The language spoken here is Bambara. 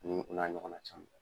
N' u n'a ɲɔgɔnna caman.